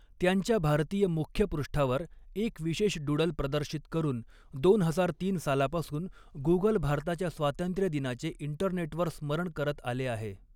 त्यांच्या भारतीय मुख्यपृष्ठावर एक विशेष डूडल प्रदर्शित करून दोन हजार तीन सालापासून गूगल भारताच्या स्वातंत्र्य दिनाचे इंटरनेटवर स्मरण करत आले आहे.